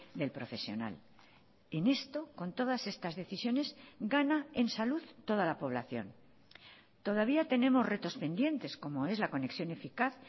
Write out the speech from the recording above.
del profesional en esto con todas estas decisiones gana en salud toda la población todavía tenemos retos pendientes como es la conexión eficaz